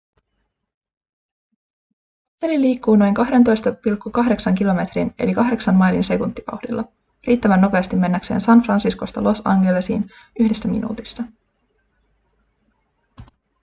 kapseli liikkuu noin 12,8 kilometrin eli 8 mailin sekuntivauhdilla riittävän nopeasti mennäkseen san franciscosta los angelesiin yhdessä minuutissa